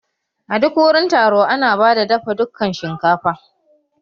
A duk wurin taro ana bada dafa dukan shinkafa